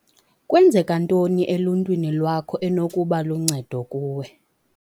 Kwenzeka ntoni eluntwini lwakho enokuba luncedo kuwe?